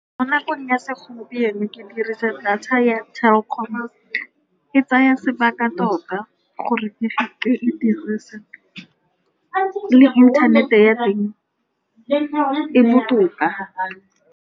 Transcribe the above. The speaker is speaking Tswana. Mo nakong ya segompieno ke dirisa data ya Telkom-o, e tsaya sebaka tota gore ke-ke e dirise le internet-e ya teng e botoka.